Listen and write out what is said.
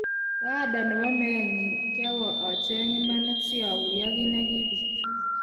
Baada nebo meenyi, kiawe acheng imanit si aguyo kit ne kibiit.